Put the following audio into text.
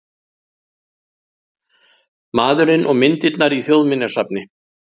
Maðurinn og myndirnar í Þjóðminjasafni